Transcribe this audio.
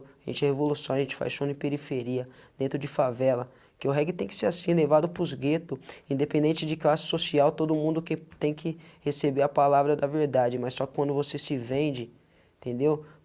A gente é revolução, a gente faz show em periferia dentro de favela, que o reggae tem que ser assim, levado para os gueto, independente de classe social, todo mundo que tem que receber a palavra da verdade, mas só quando você se vende, entendeu?